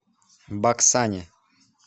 баксане